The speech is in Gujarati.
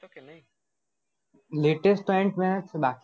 latest તો antman છે બા